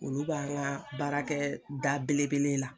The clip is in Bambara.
Olu b'an ka baarakɛ da belebele la.